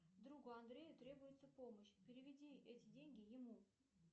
другу андрею требуется помощь переведи эти деньги ему